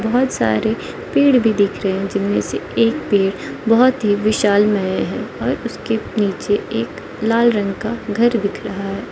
बहुत सारे पेड़ भी दिख रहे हैं जिनमें से एक पेड़ बहुत ही विशालमय है और उसके नीचे एक लाल रंग का घर दिख रहा है।